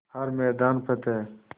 हर मैदान फ़तेह